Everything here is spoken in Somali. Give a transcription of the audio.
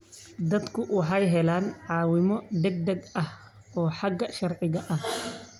Dadku waxay helaan caawimo degdeg ah oo xagga sharciga ah.